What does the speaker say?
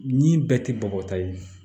Ni bɛɛ tɛ bɔgɔ ta ye